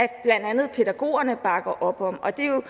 andet pædagogerne bakker op om og det er jo